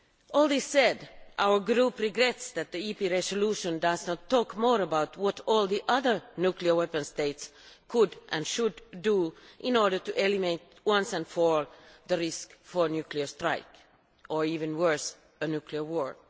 All this said, our group regrets that the EP resolution does not talk more about what all the other nuclear weapon states could and should do in order to eliminate once and for all the risk of nuclear strikes or, even worse, a nuclear war.